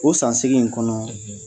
O san seegin in kɔnɔɔ